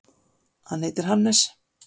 Hann heitir Hannes.